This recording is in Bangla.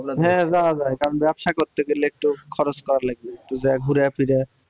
হ্যাঁ যাওয়া যায় কারণ ব্যবসা করতে গেলে একটু খরচ করা লাগবে একটু যায়া ঘুরে ফিরে